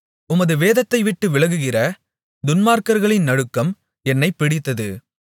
உமது வேதத்தை விட்டு விலகுகிற துன்மார்க்கர்களின் நடுக்கம் என்னைப் பிடித்தது